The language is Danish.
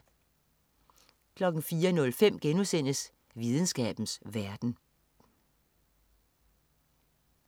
04.05 Videnskabens verden*